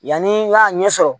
Yanni n k'a ɲɛ sɔrɔ